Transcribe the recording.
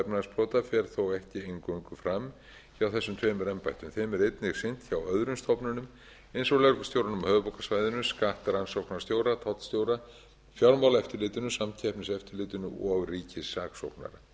efnahagsbrota fer þó ekki eingöngu fram hjá þessum tveimur embættum þeim er einnig sinnt hjá öðrum stofnunum eins og lögreglustjóranum á höfuðborgarsvæðinu skattrannsóknarstjóra tollstjóra fjármálaeftirlitinu samkeppniseftirlitinu og ríkissaksóknara